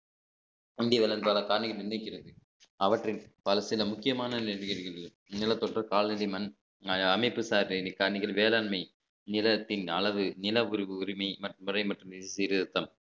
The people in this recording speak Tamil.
அவற்றில் பல சில முக்கியமான நிலப்பரப்பு கால்நடை மண் அமைப்பு சார்ந்த mechanical வேளாண்மை நிலத்தின் அளவு நில உரி~ உரிமை மற்றும் சீர்திருத்தம்